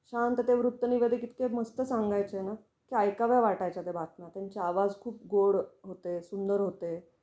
शांतते वृत्तने इतके मस्त सांगायचे ना, त्या ऐकाव्या वाटायच्या त्या बातम्या. त्यांचा आवाज खूप गोड होते, सुंदर होते